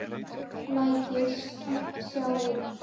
Læt sem ég sjái ekki furðusvipinn á Júlíu.